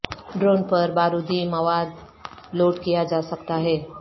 drone پر بارودی مواد لوڈ کیا جا سکتا ہے